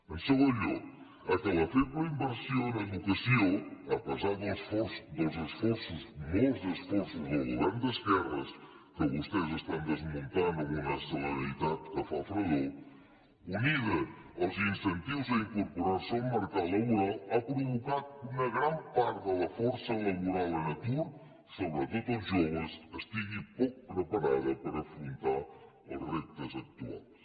en segon lloc la feble inversió en educació a pesar dels esforços molts esforços dels governs d’esquerres que vostès estan desmuntant amb una celeritat que fa feredat unida als incentius a incorporar se al mercat laboral ha provocat que una gran part de la força laboral en atur sobretot els joves estigui poc preparada per afrontar els reptes actuals